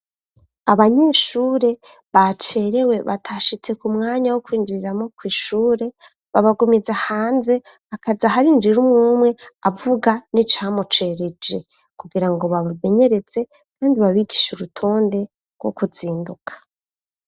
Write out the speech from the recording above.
Abanyeshure bacerewe batashitse ku mwanya wo kwinjiriramo ku ishure babagumiza hanze akaja hariinjira umwumwe avuga n'icamucerejE kugira ngo babamenyeretse kandi babigishe urutonde rwo kuzinduka.